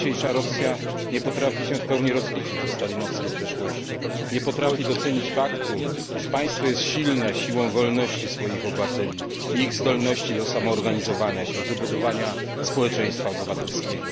Dzisiejsza Rosja nie potrafi się w pełni rozliczyć ze stalinowskiej przeszłości, nie potrafi docenić faktu, iż państwo jest silne siłą wolności swoich obywateli i ich zdolności do samoorganizowania się, do budowania społeczeństwa obywatelskiego.